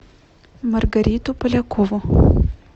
маргариту полякову